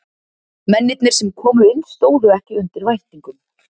Mennirnir sem komu inn stóðu ekki undir væntingum.